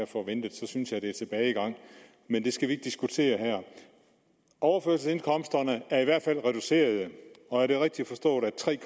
forventet så synes jeg det er tilbagegang men det skal vi ikke diskutere her overførselsindkomsterne er i hvert fald reducerede og er det rigtigt forstået at tre